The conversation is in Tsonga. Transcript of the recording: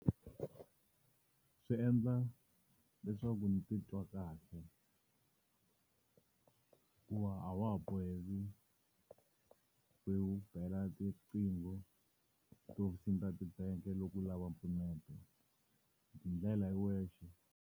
Swi endla leswaku ndzi titwa kahle hikuva a wa ha boheki ku bela tiqhingho tiofisini ta tibangi loko u lava mpfuneto u tindlela hi wexe.